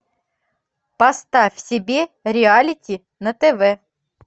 поставь себе реалити на тв